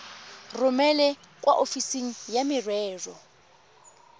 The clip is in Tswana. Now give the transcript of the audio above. romele kwa ofising ya merero